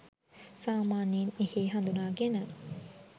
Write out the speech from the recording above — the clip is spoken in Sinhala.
සාමාන්‍යයෙන් එහෙ හඳුනාගෙන